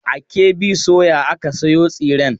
A KB soya aka sayo tsiren.